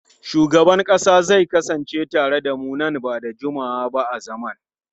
Shugaban kasa zai kasance tare da mu nan ba da jimawa ba a zaman.